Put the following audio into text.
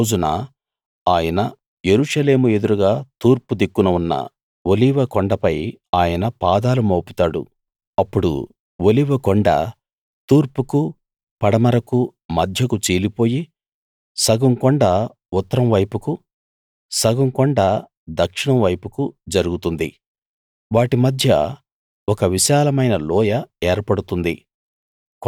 ఆ రోజున ఆయన యెరూషలేము ఎదురుగా తూర్పు దిక్కున ఉన్న ఒలీవ కొండపై ఆయన పాదాలు మోపుతాడు అప్పుడు ఒలీవ కొండ తూర్పుకు పడమరకు మధ్యకు చీలిపోయి సగం కొండ ఉత్తరం వైపుకు సగం కొండ దక్షిణం వైపుకు జరుగుతుంది వాటి మధ్య ఒక విశాలమైన లోయ ఏర్పడుతుంది